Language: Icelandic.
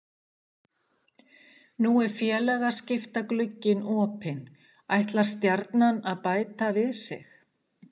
Nú er félagaskiptaglugginn opinn, ætlar Stjarnan að bæta við sig?